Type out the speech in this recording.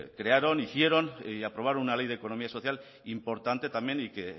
crearon hicieron y aprobaron una ley de economía social importante también y que